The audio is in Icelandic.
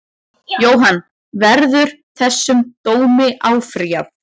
Jóhann: Verður þessum dómi áfrýjað?